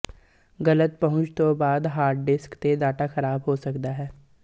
ਗਲਤ ਪਹੁੰਚ ਤੋਂ ਬਾਅਦ ਹਾਰਡ ਡਿਸਕ ਤੇ ਡਾਟਾ ਖਰਾਬ ਹੋ ਸਕਦਾ ਹੈ